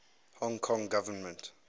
hong kong government